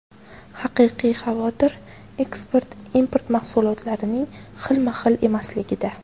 Haqiqiy xavotir eksport-import mahsulotlarining xilma-xil emasligida.